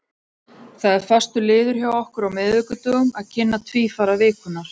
Það er fastur liður hjá okkur á miðvikudögum að kynna tvífara vikunnar.